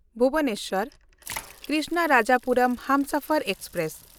Bhubaneswar-Krishnarajapuram Humsafar express